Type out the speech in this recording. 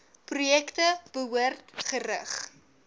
projekte behoort gerig